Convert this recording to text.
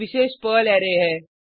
एक विशेष pearl array है